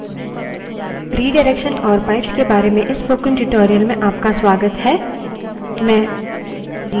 redirection और pipes के बारे में इस spoken tutorial में आपका स्वागत है